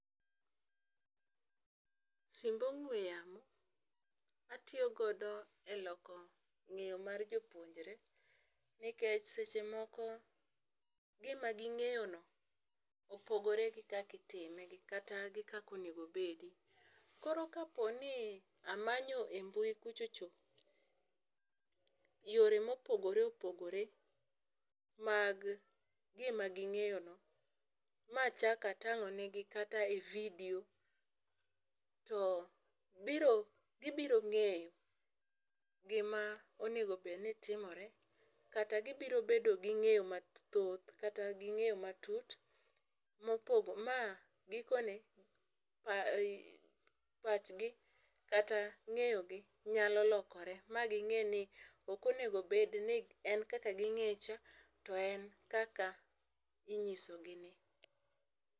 Simb ong'we yamo atiyo godo e loko ngéyo mar jopuonjore, nikech seche moko gima gingéyo no, opogore gi kaka itime gi kata gi kaka onego obedi. Koro, ka po ni amanyo e mbui kucho cho, yore mopogore opogore mag gima gingéyo no, ma achak atangó negi kata e video, to biro, gibiro ngéyo gima onego bed ni timore, kata gibiro bedo gi ngéyo mathoth, kata gi ngéyo matut, ma gikone pachgi, kata ngéyogi nyalo lokore, ma gingéni ok onego bed ni en kaka gingéye cha, to en kaka inyiso gi ni.